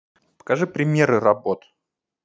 покажи примеры работ